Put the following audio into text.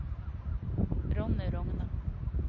Ronny Rogne